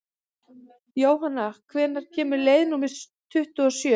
Jónanna, hvenær kemur leið númer tuttugu og sjö?